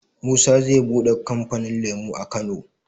Musa ze buɗe kamfanin lemo a kano